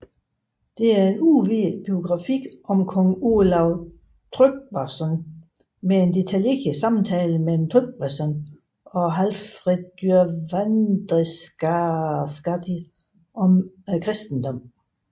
Det er en udvidet biografi om kong Olav Tryggvason med en detaljeret samtale mellem Tryggvason og Hallfreðr vandræðaskáld om kristendommen